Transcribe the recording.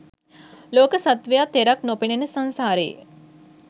ලෝක සත්වයා තෙරක් නොපෙනෙන සංසාරයේ